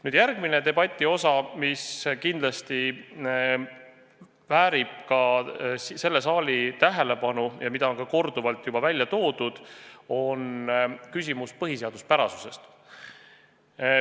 Nüüd järgmine debati osa, mis kindlasti väärib ka selle saali tähelepanu ja mida on ka korduvalt välja toodud, oli küsimus põhiseaduspärasusest.